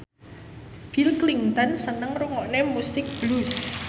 Bill Clinton seneng ngrungokne musik blues